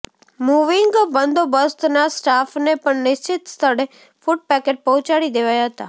moving બંદોબસ્તના સ્ટાફને પણ નિશ્ચિત સ્થળે ફૂટ પેકેટ પહોંચાડી દેવાયા હતા